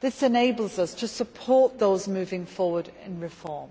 They enable us to support those moving forward on reform,